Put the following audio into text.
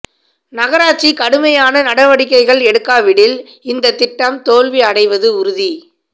நகராட்சி கடுமையான நடவடிக்கைகள் எடுக்காவிடில் இந்த திட்டம் தோல்வி அடைவது உறுதி